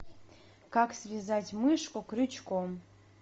как связать мышку крючком